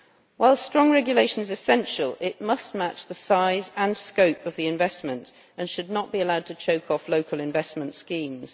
While strong regulation is essential, it must match the size and scope of the investment and should not be allowed to choke off local investment schemes.